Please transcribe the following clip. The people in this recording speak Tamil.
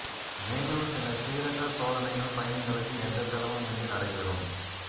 மேலும் சில சீரற்ற சோதனைகள் பயணிகளுக்கு எந்த செலவும் இன்றி நடைபெறும்